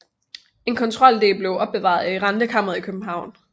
En kontroldel blev opbevaret i rentekammeret i København